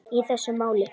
í þessu máli.